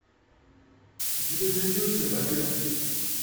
у тебя найдется богатые